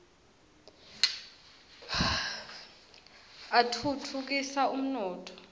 atfutfu kisa umnotfo